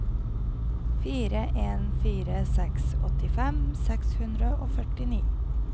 fire en fire seks åttifem seks hundre og førtini